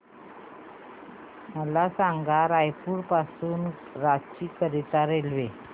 मला सांगा रायपुर पासून रांची करीता रेल्वे